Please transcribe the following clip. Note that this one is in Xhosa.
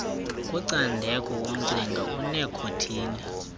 kucandeko umcinga onekhothini